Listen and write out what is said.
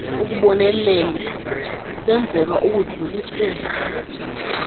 ubonelelo lwenzelwa ukudlulisela